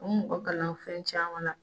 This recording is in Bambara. U bi mɔgɔ kalan fɛn caman na